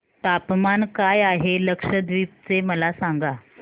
तापमान काय आहे लक्षद्वीप चे मला सांगा